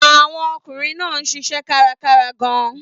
Àwọn ọkùnrin náà ń ṣiṣẹ́ kárakára gan-an.